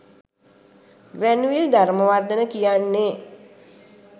Granville Dharmawardena කියන්නේ